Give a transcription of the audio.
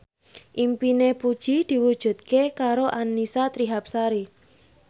impine Puji diwujudke karo Annisa Trihapsari